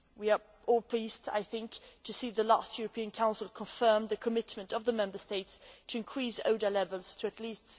We are all pleased, I think, to see the last European Council confirm the commitment of the Member States to increase ODA levels to at least